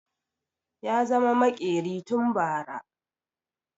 Ya zama maƙeri tun bara